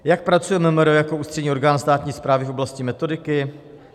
Jak pracuje MMR jako ústřední orgán státní správy v oblasti metodiky?